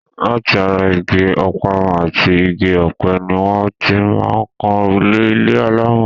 Láti ara igi ọ̀parun àti igi ọ̀pẹ ni wọ́n ti máa ń kan òrùlé ilé alámọ̀.